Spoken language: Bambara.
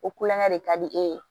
O kulonkɛ de ka di e ye